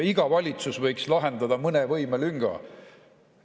Iga valitsus võiks lahendada mõne võimelünga.